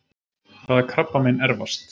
Hvaða krabbamein erfast?